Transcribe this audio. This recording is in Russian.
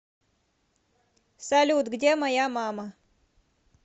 салют где моя мама